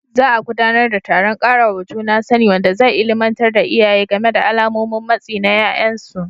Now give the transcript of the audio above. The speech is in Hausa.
Za a gudanar da taron ƙarawa juna sani, wanda zai illimantar da iyaye game da alamomin matsi na ƴaƴansu.